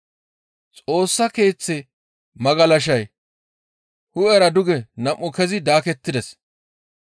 Xoossa Keeththe magalashay hu7era duge nam7u kezi daakettides.